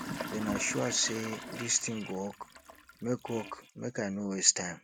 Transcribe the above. una sure say dis thing go work make work make i no waste time